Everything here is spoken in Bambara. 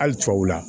Hali tubabuw la